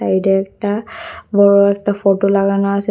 এটা একটা বড় একটা ফটো লাগানো আসে।